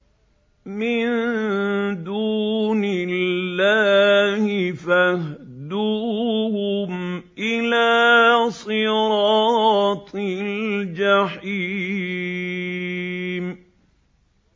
مِن دُونِ اللَّهِ فَاهْدُوهُمْ إِلَىٰ صِرَاطِ الْجَحِيمِ